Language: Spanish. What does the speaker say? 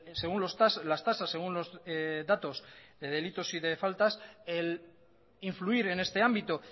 según las tasas según los datos de delitos y de faltas el influir en este ámbito